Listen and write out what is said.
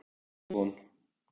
Ný von.